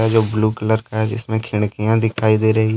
जो blue colour का है जिसमें खिड़कियां दिखाई दे रही--